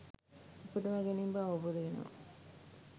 උපදවා ගැනීම බව අවබෝධ වෙනවා.